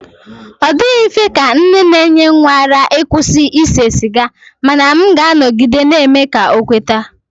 Ọ dịghị mfe ka nne na-enye nwa ara ịkwụsị ise siga mana m ga-anọgide na-eme ka ọ kweta.